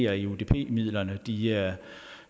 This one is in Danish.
er enig i at